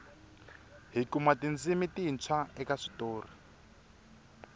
hi kuma tindzimi tintshwa eka switori